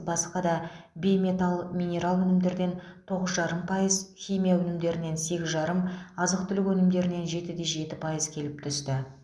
басқа да бейметалл минерал өнімдерден тоғыз жарым пайыз химия өнімдерінен сегіз жарым азық түлік өнімдерінен жеті де жеті пайыз келіп түсті